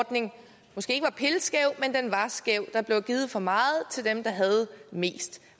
ordning måske ikke var pilskæv men var skæv der blev givet for meget til dem der havde mest